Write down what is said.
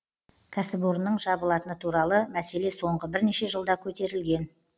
кәсіпорынның жабылатыны туралы мәселе соңғы бірнеше жылда көтерілген